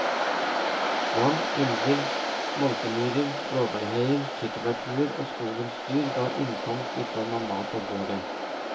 Vann, elver, multemyrer, blåbærheier, tyttebærtuer og skogens dyr ga innkomst i form av mat på bordet.